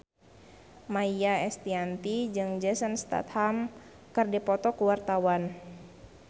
Maia Estianty jeung Jason Statham keur dipoto ku wartawan